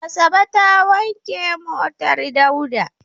Asabe ta wanke motar Dauda.